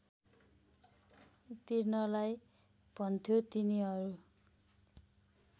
तिर्नलाई भन्थ्यो तिनीहरू